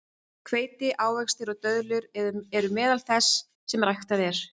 Hveiti, ávextir og döðlur eru meðal þess sem ræktað er.